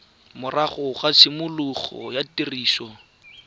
morago ga tshimologo ya tiriso